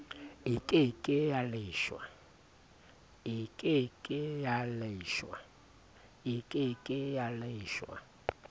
e ke ke ya leshwa